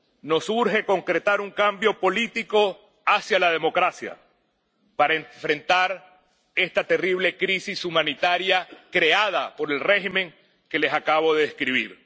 Nos urge concretar un cambio político hacia la democracia para enfrentar esta terrible crisis humanitaria creada por el régimen que les acabo de describir.